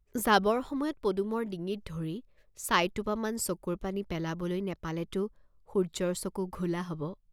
যাবৰ সময়ত পদুমৰ ডিঙিত ধৰি চাইটোপামান চকুৰ পানী পেলাবলৈ নেপালেতো সূৰ্য্যৰ চকু ঘোলা হব।